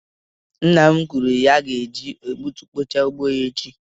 Nna m kwuru na ya ga-eji egbutukpochaa ugbo echi.